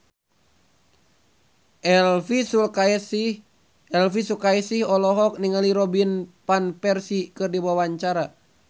Elvi Sukaesih olohok ningali Robin Van Persie keur diwawancara